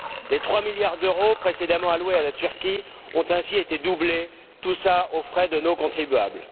Les trois milliards d'euros précédemment alloués à la Turquie ont ainsi été doublés, tout cela aux frais de nos contribuables.